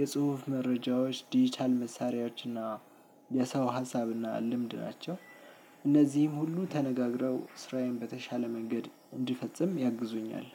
የጽሁፍ መረጃዎች ዲጂታል መሳሪያዋችና የሰው ሀሳብና ልምድ ናቸው። እነዚህም ሁሉ ተነጋግረው ስራዬን በተሻለ መንገድ እንድፈጽም ያግዙኛል